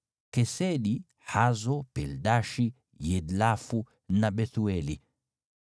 Kesedi, Hazo, Pildashi, Yidlafu na Bethueli.”